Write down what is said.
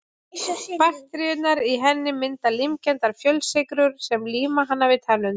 Bakteríurnar í henni mynda límkenndar fjölsykrur sem líma hana við tennurnar.